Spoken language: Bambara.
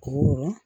Ɔ